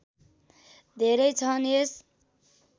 धेरै छन् यस